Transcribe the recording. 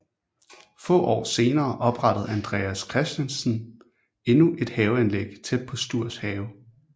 Få år senere oprettede Andreas Christiansen endnu et haveanlæg tæt på Stuhrs have